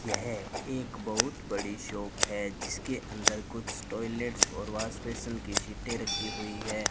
यह एक बहुत बड़ी शॉप है जिसके अंदर कुछ टॉयलेट्स और वॉश बेसिन की सीटें रखी हुई है।